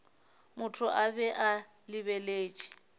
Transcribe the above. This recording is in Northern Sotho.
motho a be a lebeletše